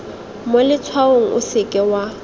mo letshwaong o seke wa